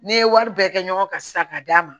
N'i ye wari bɛɛ kɛ ɲɔgɔn kan sisan k'a d'a ma